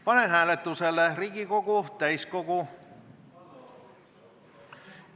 Panen hääletusele Riigikogu täiskogu ...